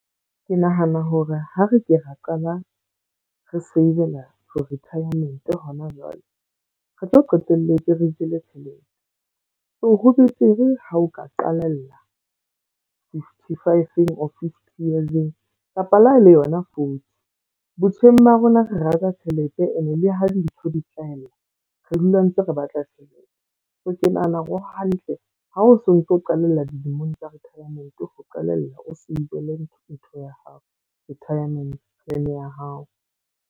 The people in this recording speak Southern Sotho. Ke nahana hore ha re ke ra qala re save-la for retirement ho na jwale. Re tlo qetelletse re jele tjhelete. So ho betere ha o ka qalella fifty-five or fifty years-eng. Kapa le ha e le yona forty. Botjheng ba rona re rata tjhelete ene le ha dintho di nhlahella re dula ntse re batla tjhelete. So ke nahana hore ho hantle, ha o so ntso qalella dilemong tsa retirement ho qalella o save-le ntho ya hao, retirement plan ya hao.